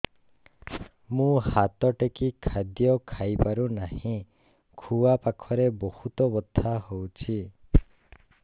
ମୁ ହାତ ଟେକି ଖାଦ୍ୟ ଖାଇପାରୁନାହିଁ ଖୁଆ ପାଖରେ ବହୁତ ବଥା ହଉଚି